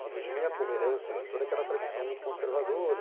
que vinha como herança de toda aquela tradição muito conservadora.